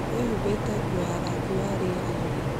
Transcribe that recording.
Wĩhumbĩte nguo ya rangi wa rĩera-inĩ